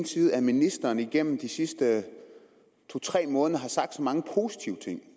synes at ministeren gennem de sidste to tre måneder har sagt så mange positive ting